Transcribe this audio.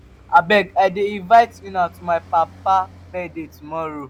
abeg i dey invite una to my papa birthday tomorrow.